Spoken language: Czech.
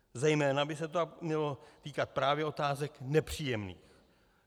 Zejména by se to mělo týkat právě otázek nepříjemných.